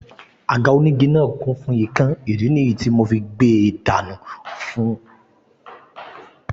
Àga onígi náà kún fún ikán ìdí nìyí tí ìyá fí gbe dànù fún kọ́lẹ̀ ìjọba